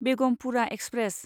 Begumpura express